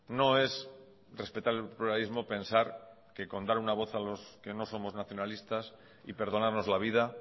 no es respetar el pluralismo pensar que con dar una voz a los que no somos nacionalistas y perdonarnos la vida